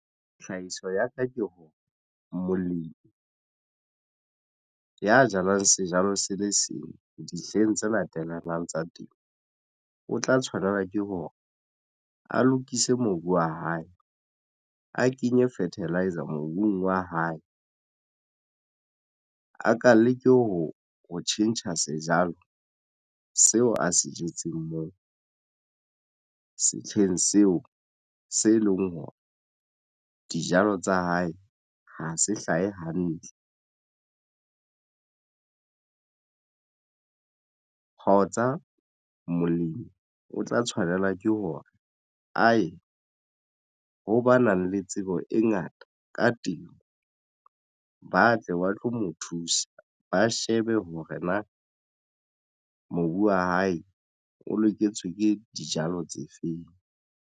Tlhahiso ya ka ke hore molemi ya jalang sejalo se le seng dihleng tse latellanang tsa temo o tla tshwanela ke hore a lokise mobu wa hae a kenye fertiliser mobung wa hae a ka leke ho ho tjhentjha sejalo seo a se jetseng moo setsheng seo se leng hore dijalo tsa hae ha se hlahe hantle. Hotsa molemi o tla tshwanela ke hore aye ho ba nang le tsebo e ngata ka temo ba tle ba tlo mo thusa ba shebe hore na mobu wa hae o loketswe ke dijalo tse feng.